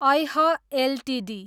ऐह एलटिडी